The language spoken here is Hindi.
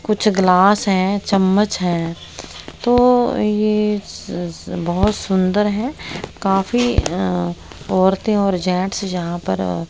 कुछ ग्लास हैं चम्मच हैं तो ये स स बहुत सुंदर हैं काफी अह औरतें और जेंट्स यहां पर--